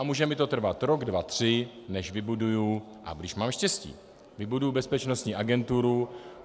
A může mi to trvat rok, dva, tři, než vybuduji, a když mám štěstí, vybuduji bezpečnostní agenturu.